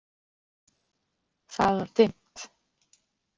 Það var dimmt.